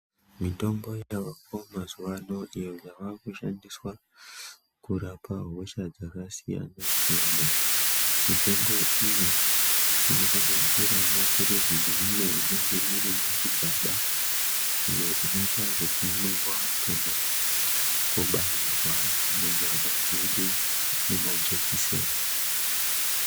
Mitombo yavako mazuvano iyo yavakushandiswa kurapa hosha dzakasiyana-siyana, Mitombo iyi inosanganisirawo maphirizi neimwe inenge iri muzvigaba iyo inoita zvekumwiwa kana kubairwa munyama dzedu nemajekiseni.